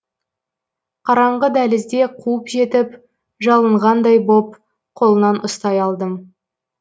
қараңғы дәлізде қуып жетіп жалынғандай боп қолынан ұстай алдым